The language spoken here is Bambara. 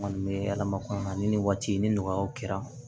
N kɔni bɛ alamakana ni nin waati ni nɔgɔyaw kɛra